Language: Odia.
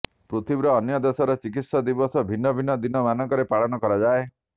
ପୃଥିବୀର ଅନ୍ୟ ଦେଶରେ ଚିକିତ୍ସକ ଦିବସ ଭିନ୍ନ ଭିନ୍ନ ଦିନ ମାନଙ୍କରେ ପାଳନ କରାଯାଏ